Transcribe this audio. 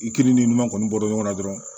I ki ni ɲuman kɔni bɔ ɲɔgɔn na dɔrɔn